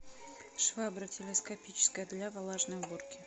швабра телескопическая для влажной уборки